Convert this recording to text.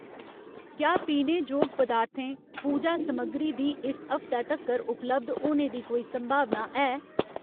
क्या पीने जोग पदार्थें, पूजा समग्गरी दी इस हफ्तै तक्कर उपलब्ध होने दी कोई संभावना है ?